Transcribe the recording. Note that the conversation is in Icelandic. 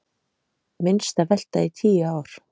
Minnsta velta í tíu ár